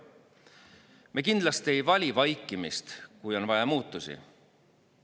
Me kindlasti ei vali vaikimist, kui on vaja muutusi.